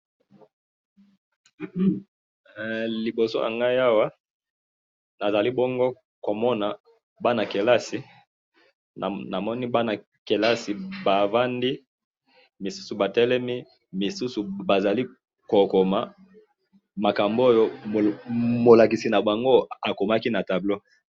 hee liboso ya ngayi awa nazali bongo komona bana kelasi namoni bana kelisa bavandi misusu batelemi ,misusu bazali kokoma makambo oyo molakisi na bango azali kokoma na tableau.